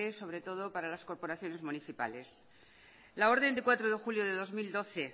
sobre todo para las corporaciones municipales la orden de cuatro de julio de dos mil doce